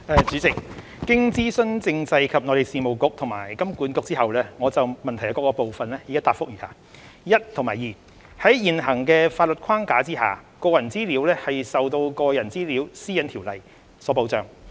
主席，經諮詢政制及內地事務局及香港金融管理局後，我就質詢各部分的答覆如下：一及二在現行的法律框架下，個人資料受到《個人資料條例》所保障。